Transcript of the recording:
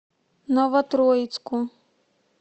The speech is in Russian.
новотроицку